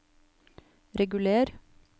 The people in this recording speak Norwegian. reguler